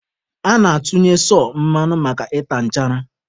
A na-atụnye sọ mmanụ maka ịta nchara.